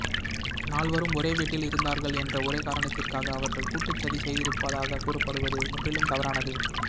நால்வரும் ஒரே வீட்டில் இருந்தாா்கள் என்ற ஒரே காரணத்திற்காக அவா்கள் கூட்டுச் சதி செய்திருப்பதாக கூறப்படுவது முற்றிலும் தவறானது